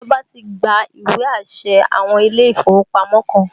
Ìjọba ti gba ìwé àṣẹ àwọn ilé ìfowópamọ́ kan